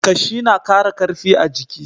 Ƙashi na ƙara ƙarfi a jiki.